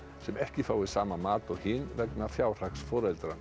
sem ekki fái sama mat og hin vegna fjárhags foreldra